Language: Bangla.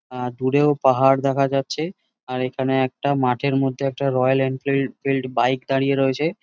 অ্যাঁ দূরেও পাহাড় দেখা যাচ্ছে | আর এখানে একটা মাঠের মধ্যে একটা রয়্যাল এমফিল বাইক দাঁড়িয়ে রয়েছে।